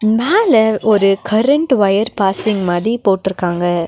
மேல ஒரு current wire passing மாரி போட்ருக்காங்க.